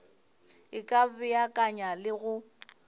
e ka beakanya le go